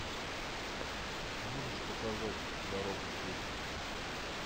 можешь показать дорога чести